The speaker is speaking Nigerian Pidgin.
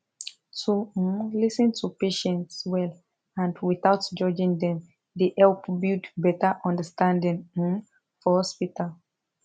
to um lis ten to patients well and without judging dem dey help build better understanding um for hospital